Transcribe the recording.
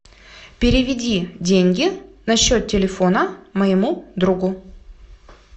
переведи деньги на счет телефона моему другу